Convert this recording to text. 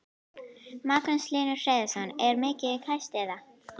Magnús Hlynur Hreiðarsson: Er hún mikið kæst eða?